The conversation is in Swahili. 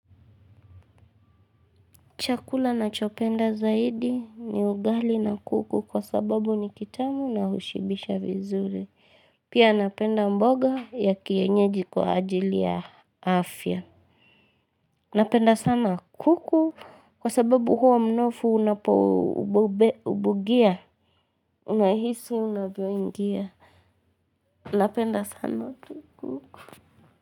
Chakula nachopenda zaidi ni ugali na kuku kwa sababu ni kitamu na ushibisha vizuri. Pia napenda mboga ya kienyeji kwa ajili ya afya. Napenda sana kuku kwa sababu huwa mnofu unapo ubugia. Unahisu unavyoingia. Napenda sana tu.